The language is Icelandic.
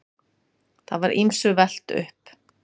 Það var ýmsu velt upp.